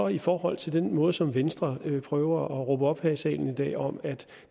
i forhold til den måde som venstre prøver at råbe op på her i salen i dag om at